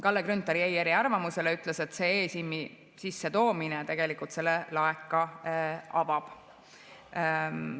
Kalle Grünthal jäi eriarvamusele, ütles, et see e‑SIM‑i sissetoomine tegelikult selle laeka avab.